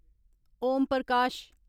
Om Prakash